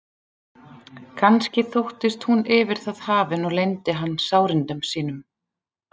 Kannski þóttist hún yfir það hafin og leyndi hann sárindum sínum.